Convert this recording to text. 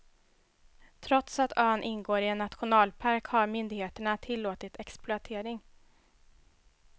Trots att ön ingår i en nationalpark har myndigheterna tillåtit exploatering.